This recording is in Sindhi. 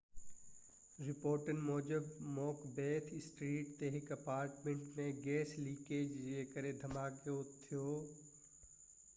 رپورٽن موجب مڪبيٿ اسٽريٽ تي هڪ اپارٽمنٽ ۾ گئس لڪيج جي ڪري ڌماڪو ٿيو